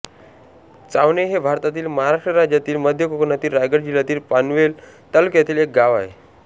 चावणे हे भारतातील महाराष्ट्र राज्यातील मध्य कोकणातील रायगड जिल्ह्यातील पनवेल तालुक्यातील एक गाव आहे